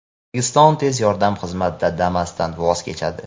O‘zbekiston tez yordam xizmatida Damas’dan voz kechadi.